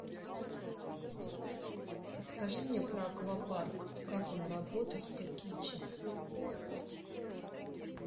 подскажи мне про аквапарк как он работает в какие часы